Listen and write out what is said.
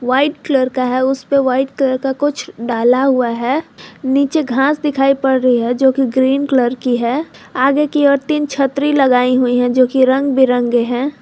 White colour का है उस पे वाइट कलर का कुछ डाला हुआ है नीचे घास दिखाई पड़ रही है जो कि ग्रीन कलर की है आगे की और तीन छतरी लगाई हुई हैं जो कि रंग बिरंगे हैं।